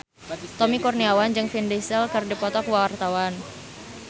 Tommy Kurniawan jeung Vin Diesel keur dipoto ku wartawan